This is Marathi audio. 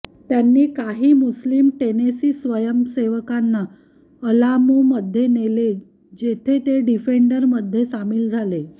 त्यांनी काही मुस्लिम टेनेसी स्वयंसेवकांना अलामोमध्ये नेले जेथे ते डिफेंडरमध्ये सामील झाले